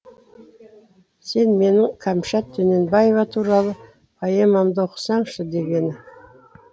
сен менің кәмшат дөненбаева туралы поэмамды оқысаңшы дегені